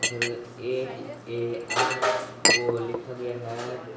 H A R O लिखा गया है।